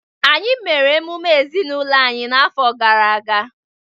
Anyị mere emume ezinụlọ anyị n’afọ gara aga.